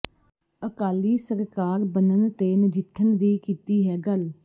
ਅਕਾਲੀ ਸਰਕਾਰ ਬਣਨ ਤੇ ਨਜਿੱਠਣ ਦੀ ਕੀਤੀ ਹੈ ਗੱਲ